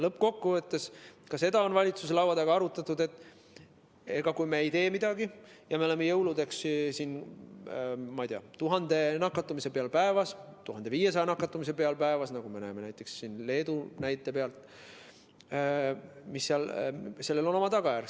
Lõppkokkuvõttes, ka seda on valitsuse laua taga arutatud, et kui me ei tee midagi ja oleme jõuludeks, ma ei tea, 1000 või 1500 nakatumise peal päevas, nagu me näeme Leedu näite pealt, siis sellel on oma tagajärg.